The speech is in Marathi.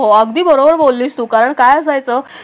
हो अगदी बरोबर बोललीस उ कारण काय असायचं?